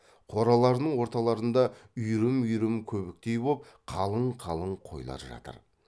қораларының орталарында үйрім үйрім көбіктей боп қалың қалың қойлар жатыр